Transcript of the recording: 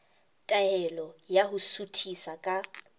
taelo ya ho suthisa ka